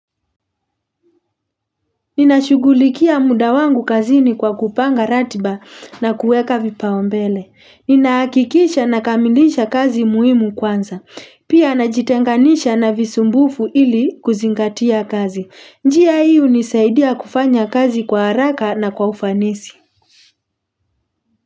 Nina shugulikia muda wangu kazini kwa kupanga ratiba na kueka vipao mbele. Ninaakikisha na kamilisha kazi muhimu kwanza. Pia najitenganisha na visumbufu ili kuzingatia kazi. Njia hii unisaidia kufanya kazi kwa haraka na kwa ufanisi.